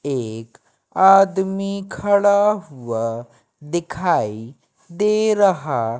एक आदमी खड़ा हुआ दिखाई दे रहा--